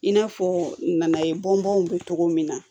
In n'a fɔ nanaye bɔn bɔn cogo min na